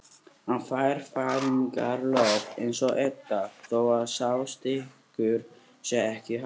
Hann fær fæðingarorlof eins og Edda þó að sá styrkur sé ekki hár.